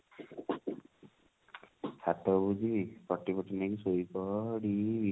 ଛାତ ଉପରକୁ ଯିବି ପଟି ଫଟି ନେଇକି ଶୋଇପଡିବି